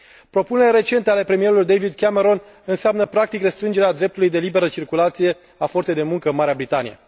Propunerile recente ale premierului David Cameron înseamnă, practic, restrângerea dreptului la liberă circulație a forței de muncă în Marea Britanie.